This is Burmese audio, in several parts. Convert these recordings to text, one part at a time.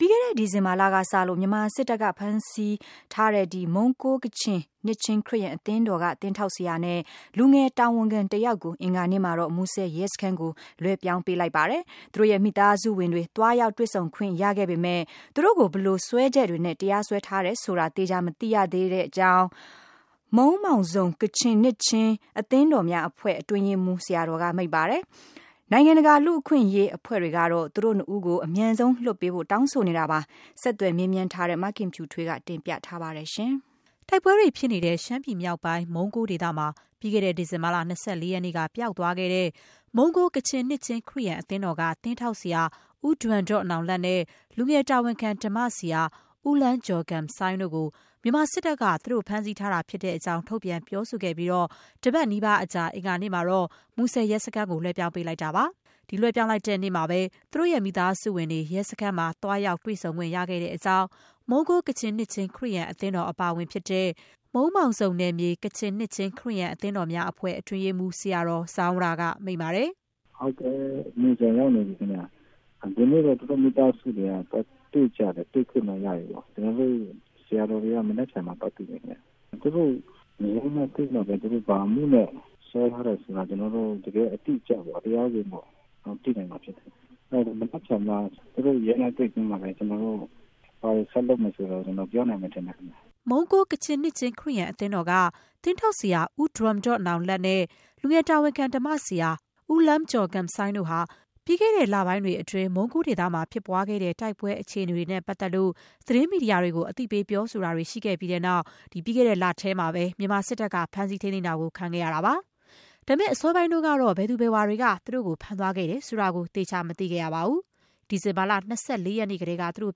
ပြီးခဲ့တဲ့ ဒီဇင်ဘာလကစလို့ မြန်မာစစ်တပ်က ဖမ်းဆီးထားတဲ့ မုံးကိုး ကချင်နှစ်ခြင်းခရစ်ယာန် အသင်းတော်က သင်းထောက်ဆရာနဲ့ လူငယ်တာဝန်ခံတယောက်ကို အင်္ဂါနေ့မှာတော့ မူဆယ်ရဲစခန်းကို လွှဲပြောင်းပေးလိုက်ပါတယ်။ သူတို့ရဲ့ မိသားစုဝင်တွေ သွားရောက် တွေ့ဆုံခွင့်ရခဲ့ပေမဲ့ သူတို့ကို ဘယ်လိုစွဲချက်တွေနဲ့ တရားစွဲထားတယ်ဆိုတာ သေချာ မသိရသေးတဲ့အကြောင်း မုန်းမောင်ဇုန် ကချင်နှစ်ခြင်းအသင်းတော်များအဖွဲ့ အတွင်းရေးမှူး ဆရာတော်က မိန့်ပါတယ်။ နိုင်ငံတကာ လူ့အခွင့်အရေး အဖွဲ့တွေကတော့ သူတို့နှစ်ဦးကို အမြန်ဆုံး ပြန်လွှတ်ပေးဖို့ တောင်းဆိုနေတာပါ။ ဆက်သွယ်မေးမြန်းထားတဲ့ မခင်ဖြူထွေးက တင်ပြထားပါတယ်။ တိုက်ပွဲတွေဖြစ်နေတဲ့ ရှမ်းပြည်မြောက်ပိုင်း မုံးကိုးဒေသမှာ ပြီးခဲ့တဲ့ ဒီဇင်ဘာလ ၂၄ ရက်နေ့က ပျောက်သွားခဲ့တဲ့ မုံးကိုး ကချင်နှစ်ခြင်းခရစ်ယာန်အသင်းတော်က သင်းထောက်ဆရာ ဦးဒွမ်ဒေါ့နောင်လတ်နဲ့ လူငယ်တာဝန်ခံ ဓမ္မဆရာ ဦးလန်းဂျော်ဂမ်ဆိုင်း တို့ကို မြန်မာစစ်တပ်က သူတို့ ဖမ်းဆီးထားတာ ဖြစ်တဲ့အကြောင်း ထုတ်ပြန်ပြောဆိုခဲ့ပြီး တပတ်နီးပါးအကြာ အင်္ဂါနေ့က မူဆယ် ရဲစခန်းကို လွှဲပြောင်းပေးလိုက်တာပါ။ လွှဲပြောင်းလိုက်တဲ့နေ့မှာပဲ သူတို့ရဲ့ မိသားစုဝင်တွေ ရဲစခန်းမှာ သွားရောက် တွေ့ဆုံခွင့် ရခဲ့တဲ့အကြောင်း မုံးကိုး ကချင်နှစ်ခြင်း ခရစ်ယာန်အသင်းတော် အပါအဝင် ဖြစ်တဲ့ မုန်းမောင်ဇုန်နယ်မြေ ကချင်နှစ်ခြင်းခရစ်ယာန် အသင်းတော်များအဖွဲ့ အတွင်းရေးမှူး ဆရာတော် ဇောင်းရာ က မိန့်ပါတယ်။ “ဒီနေ့တော့ သူတို့မိသားစုတွေက သွားတွေ့ကြတယ်။ တွေ့ခွင့်တော့ရတယ်ပေါ့။ ကျနော်တို့ ဆရာတော်တွေကတော့ မနက်ဖြန်မှ သွားတွေ့မယ်ခင်ဗျ။ သူတို့ အမှုဖွင့်မှပဲ ဘာအမှုနဲ့ စွဲထားတယ်ဆိုတာ ကျနော်တု့ိ တကယ် အတိအကျပေါ့ သိနိုင်မှာဖြစ်ပါတယ်။ မနက်ဖြန် ရဲနဲ့ တွေ့ပြီးတော့မှပဲ ကျနော်တို့ ဘာတွေ ဆက်လုပ်မယ်ဆိုတာ ကျနော်တို့ ပြောနိုင်မှာဖြစ်တယ်။” မုံးကိုး ကချင်နှစ်ခြင်း ခရစ်ယာန်အသင်းတော်က သင်းထောက်ဆရာ ဦးဒွမ်ဒေါ့နောင်လတ် နဲ့ လူငယ်တာဝန်ခံ ဓမ္မဆရာ ဦးလန်းဂျော်ဂမ်ဆိုင်း တို့ဟာ ပြီးခဲ့တဲ့ လပိုင်းတွေအတွင်း မုံးကိုးဒေသမှာဖြစ်ပွားခဲ့တဲ့ တိုက်ပွဲအခြေအနေတွေနဲ့ ပတ်သက်လို့ သတင်းမီဒီယာတွေကို အသိပေး ပြောဆိုတာတွေ ရှိခဲ့ပြီးတဲ့နောက် ပြီးခဲ့တဲ့လထဲမှာပဲ မြန်မာစစ်တပ်က ဖမ်းဆီး ထိန်းသိမ်းတာကို ခံခဲ့ရတာပါ။ အစောပိုင်းတုန်းကတော့ ဘယ်သူဘယ်ဝါ တွေက ဖမ်းဆီးသွားခဲ့တယ်ဆိုတာ သေချာမသိခဲ့ရပါဘူး။ ဒီဇင်ဘာလ ၂၄ ရက်နေ့ကတည်းက သူတို့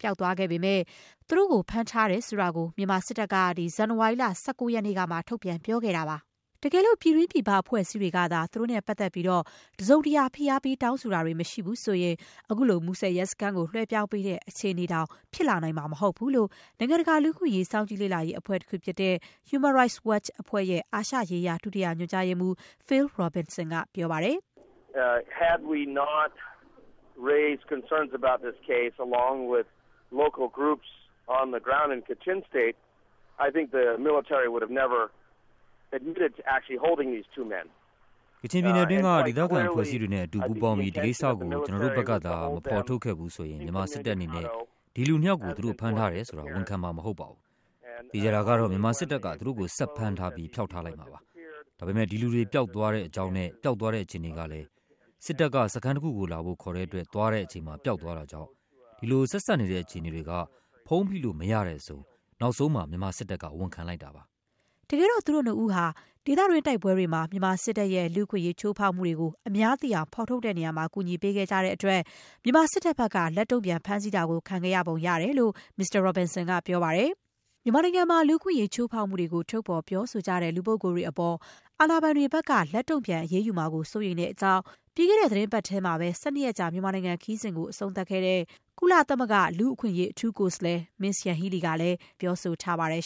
ပျောက်ဆုံးသွားခဲ့ပေမဲ့ သူတို့ဖမ်းဆီးထားတယ်ဆိုတာကို မြန်မာစစ်တပ်က ဇန်နဝါရီလ ၁၉ ရက်နေ့ကမှ ထုတ်ပြန် ပြောခဲ့တာပါ။ တကယ်လို့ ပြည်တွင်း ပြည်ပ အဖွဲ့အစည်းတွေကသာ သူတို့နဲ့ပတ်သက်ပြီး တစုံတရာ ဖိအားပေး တောင်းဆိုတာတွေမရှိရင် အခုလို မူဆယ်ရဲစခန်းကို လွှဲပြောင်းပေးတဲ့ အခြေအနေတောင် ဖြစ်လာနိုင်မှာ မဟုတ်ဘူးလို့ နိုင်ငံတကာ လူ့အခွင့်အရေး စောင့်ကြည့်လေ့လာရေး အဖွဲ့တခု ဖြစ်တဲ့ Human Rights Watch အဖွဲ့ရဲ့ အာရှရေးရာ ဒုတိယညွှန်ကြားရေးမှူး Phil Robertson က ပြောပါတယ်။ “ကချင်ပြည်နယ်အတွင်းက ဒေသခံအဖွဲ့အစည်းတွေနဲ့အတူ ပူးပေါင်းပြီး ဒီကိစ္စကို ကျနော်တို့ဘက်ကသာ မဖော်ထုတ်ခဲ့ဘူးဆိုရင် မြန်မာစစ်တပ်အနေနဲ့ ဒီလူနှစ်ယောက်ကို သူတို့ ဖမ်းထားတယ်ဆိုတာကို ဝန်ခံမှာ မဟုတ်ပါဘူး။ သေချာတာကတော့ မြန်မာစစ်တပ်က သူတို့ကို ဆက် ဖမ်းထားပြီး ဖျောက်ထားလိုက်မှာပါ။ ဒါပေမဲ့ ဒီလူတွေ ပျောက်သွားတဲ့အကြောင်းနဲ့ ပျောက်သွားတဲ့ အခြေအနေကလည်း စစ်တပ်က စခန်းတခုကိုလာဖို့ ခေါ်တဲ့အတွက် သွားတဲ့အချိန်မှာ ပျောက်သွားတာကြောင့် ဒီလို ဆက်စပ်နေတဲ့ အခြေအနေတွေက ဖုံးဖိလို့ မရတဲ့အဆုံး နောက်ဆုံးမှာ မြန်မာစစ်တပ်က ဝန်ခံလိုက်တာပါ။” တကယ်တော့ သူတို့နှစ်ဦးဟာ ဒေသတွင်း တိုက်ပွဲတွေမှာ မြန်မာစစ်တပ်ရဲ့ လူ့အခွင့်အရေး ချိုးဖောက်မှုတွေကို အများသိရှိအောင် ထုတ်ဖော်ရာမှာ ကူညီပေးခဲ့တဲ့အတွက် မြန်မာစစ်တပ်ဘက်က လက်တုံ့ပြန် ဖမ်းဆီးတာကို ခံခဲ့ရပုံရတယ်လို့လည်း မစ္စတာ Robertson က ပြောပါတယ်။ မြန်မာနိုင်ငံမှာ လူ့အခွင့်အရေး ချိုးဖောက်မှုတွေကို ထုတ်ဖော်ပြောဆိုကြတဲ့ လူပုဂ္ဂိုလ်တွေအပေါ် အာဏာပိုင်တွေက လက်တုံ့ပြန် အရေးယူမှာကို စိုးရိမ်တဲ့အကြောင်း ပြီးခဲ့တဲ့ သီတင်းပတ်ထဲမှာ ၁၂ ရက်ကြာ မြန်မာနိုင်ငံ ခရီးစဉ် အဆုံးသတ်ခဲ့တဲ့ ကုလသမဂ္ဂလူ့အခွင့်အရေး အထူး ကိုယ်စားလှယ် Ms. Yanghee Lee ကလည်း ပြောဆိုထားပါတယ်